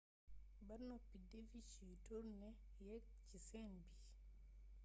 ba noppi devish yu turné yeek ci scène bi